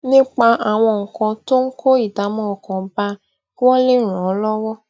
nípa àwọn nǹkan tó ń kó ìdààmú ọkàn bá a kí wón lè ràn án lówó